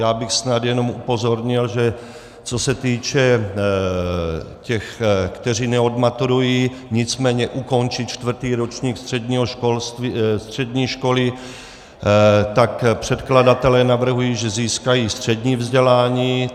Já bych snad jenom upozornil, že co se týče těch, kteří neodmaturují, nicméně ukončí čtvrtý ročník střední školy, tak předkladatelé navrhují, že získají střední vzdělání.